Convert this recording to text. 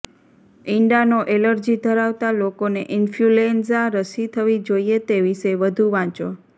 ઈંડાનો allergy ધરાવતા લોકોને influenza રસી થવી જોઈએ તે વિશે વધુ વાંચો